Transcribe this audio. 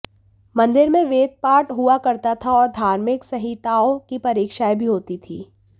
मंदिर में वेदपाठ हुआ करता था और धार्मिक संहिताओं की परीक्षाएँ भी होती थीं